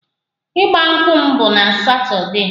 Ịgba nkwụ m bụ na satọdee